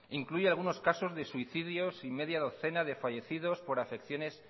incluye algunos casos de suicidios y media docena de fallecidos por acepciones